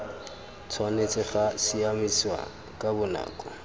tshwanetse ga siamisiwa ka bonako